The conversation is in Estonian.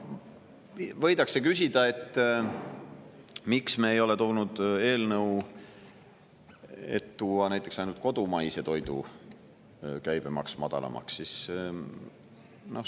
Võidakse küsida, miks me ei ole esitanud eelnõu, et tuua näiteks ainult kodumaise toidu käibemaks madalamaks.